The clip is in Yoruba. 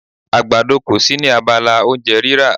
Àgbàdo kò sí ní abala oúnjẹ rírà.